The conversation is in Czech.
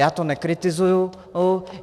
Já to nekritizuji.